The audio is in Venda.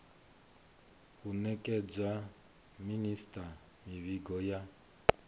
u nekedza minisita mivhigo ya